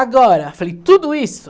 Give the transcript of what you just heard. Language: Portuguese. Agora, falei, tudo isso?